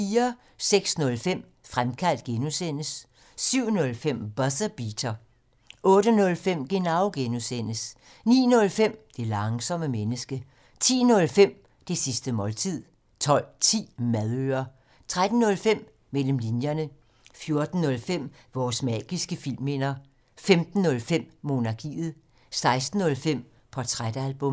06:05: Fremkaldt (G) 07:05: Buzzer Beater 08:05: Genau (G) 09:05: Det langsomme menneske 10:05: Det sidste måltid 12:10: Madøre 13:05: Mellem linjerne 14:05: Vores magiske filmminder 15:05: Monarkiet 16:05: Portrætalbum